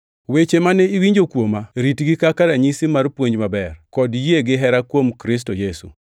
Weche mane iwinjo kuoma, ritgi kaka ranyisi mar puonj maber, kod yie gihera kuom Kristo Yesu.